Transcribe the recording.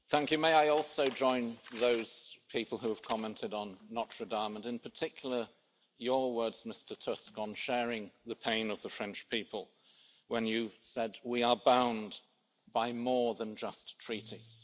Madam President, may I also join those people who have commented on Notre Dame, and in particular your words, Mr Tusk, on sharing the pain of the French people, when you said we are bound by more than just treaties.